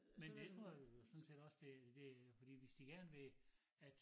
Men det tror jeg sådan set også det det fordi hvis de gerne vil at